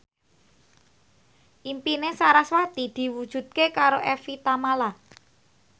impine sarasvati diwujudke karo Evie Tamala